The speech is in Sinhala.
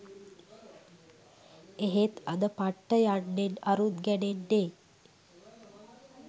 එහෙත් අද පට්ට යන්නෙන් අරුත් ගැනෙන්නේ